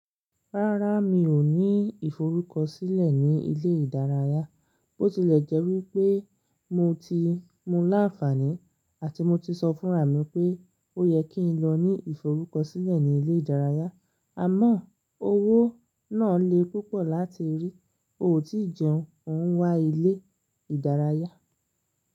Rárá, mi ò ní ìforúkọ̀sílẹ̀ ni ilé ìdárayá, bó tilẹ̀ jẹ́ wípé mo ti mú láǹfàní àti mo ti sọ fún rà mi pé ó yẹ kí n lọ ní ìforúkọ̀sílẹ̀ ni ilé ìdárayá, àmọ́ owó náà le púpọ̀ láti rí, o ò tí jẹun, òún wá ilé ìdárayá.